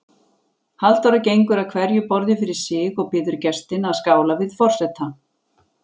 Halldóra gengur að hverju borði fyrir sig og biður gestina að skála við forseta.